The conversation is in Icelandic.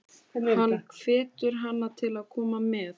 Hann hvetur hana til að koma með.